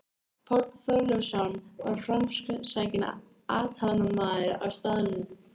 Páll Þorleifsson var framsækinn athafnamaður á staðnum.